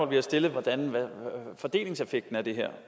vi har stillet hvordan fordelingseffekten af det her